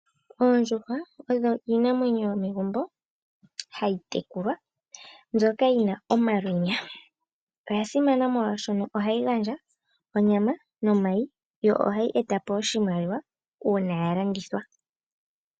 Oondjuhwa odho iinamwenyo yo megumbo hayi tekulwa mbyoka yina omalwenya, oya simana molwashono oha yi gandja onyama, nomayi yo oha yi eta po oshimaliwa uuna ya landithwa.